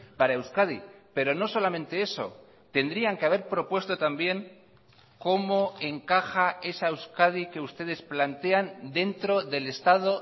para euskadi pero no solamente eso tendrían que haber propuesto también cómo encaja esa euskadi que ustedes plantean dentro del estado